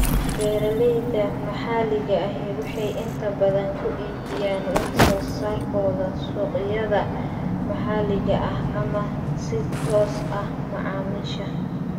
Beeralayda maxaliga ahi waxay inta badan ku iibiyaan wax soo saarkooda suuqyada maxaliga ah ama si toos ah macaamiisha.